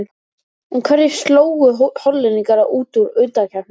En hverjir slógu Hollendinga út úr undankeppninni?